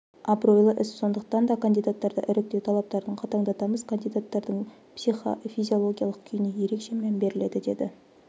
абыройлы іс сондықтан да кандидаттарды іріктеу талаптарын қатаңдатамыз кандидаттардың психофизиологиялық күйіне ерекше мән беріледі деді